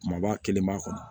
Kumaba kelen b'a kɔnɔ